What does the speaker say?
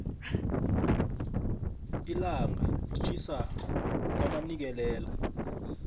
llanga litjhisa kwamanikelela